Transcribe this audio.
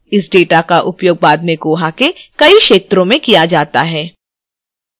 इस data का उपयोग बाद में koha के कई क्षेत्रों में किया data है